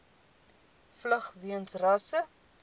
vlug weens rasse